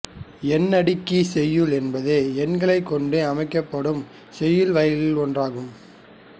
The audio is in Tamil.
எண்ணடுக்கிச் செய்யுள் என்பது எண்களைக் கொண்டு அமைக்கப்படும் செய்யுள் வகைகளில் ஒன்றாகும்